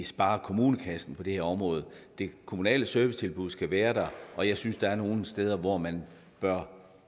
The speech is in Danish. spare kommunekassen på det her område det kommunale servicetilbud skal være der og jeg synes der er nogle steder hvor man bør